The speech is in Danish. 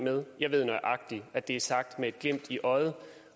med jeg ved nøjagtig at det er sagt med et glimt i øjet